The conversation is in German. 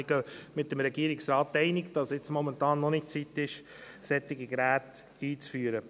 Wir gehen mit dem Regierungsrat einig, dass es momentan noch nicht an der Zeit ist, solche Geräte einzuführen.